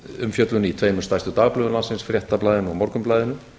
umfjöllun í tveimur stærstu dagblöðum landsins fréttablaðinu og morgunblaðinu